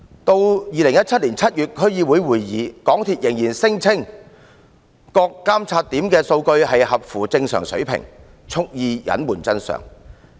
在2017年7月的區議會會議上，港鐵公司仍然聲稱各監測點的數據符合正常水平，蓄意隱瞞真相。